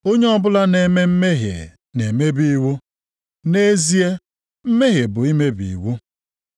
Onye ọbụla na-eme mmehie na-emebi iwu. Nʼezie mmehie bụ mmebi iwu.